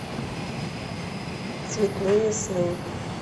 цветныесны